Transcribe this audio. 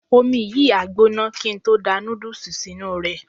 Omi yìí á gbóná kí n tó da nódùsì sínú rẹ̀